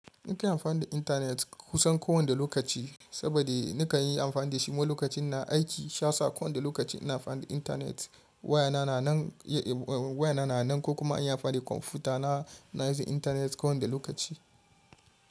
Nika amfani da intanet kusan kowane lokaci saboda nika yi amfani da shi ma lokacin na aiki sha sa kowane lokaci ina amfani da intanet wayana yana nan waya na nan ko kuma in yi amfani da kwamfuta na, na yi intanet kowane lokaci.